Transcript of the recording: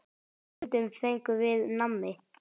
Stundum fengum við nammi.